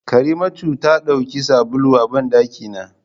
Karimatu ta dauki sabulun a bandaki na.